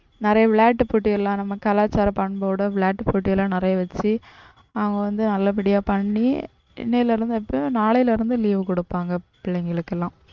நிறைய விளையாட்டு போட்டிலாம் நம்ம கலாச்சார பண்போடு விளையாட்டு போட்டிலாம் நிறைய வச்சி அவங்க வந்து நல்லபடியா பண்ணி இன்னைல இருந்து நாளைல இருந்து leave கொடுப்பாங்க பிள்ளைங்களுக்கெல்லாம்.